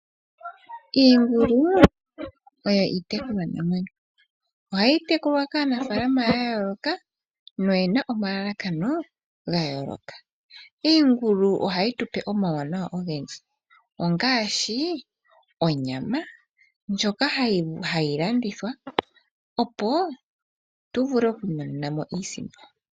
Iingulu oyo itekulwa namwenyo. Oha yi tekulwa kaanafalama ya yooloka noyena omalakano ga yooloka. Iingulu oha yi tupe omawunawa ogendji ongaashi: onyama ndjoka ha yi landithwa opo tu vulu okwiimonena mo iisipo.